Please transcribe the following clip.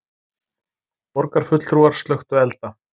Borgarfulltrúar slökktu elda